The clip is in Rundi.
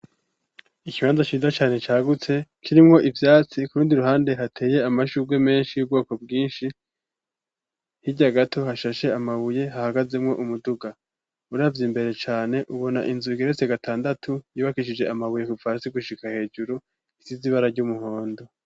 Ikibanza ciza cane cagutse, kirimwo ivyatsi kurundi ruhande hateye amashurwe menshi yubwobo bwinshi, hirya gato hashashe amabuye hahagazemwo umuduga, uravye imbere cane ubona inzu igeretse gatandatu yubakishije amabuye kuva hasi gushika hejuru risize ibara ry'umuhondo.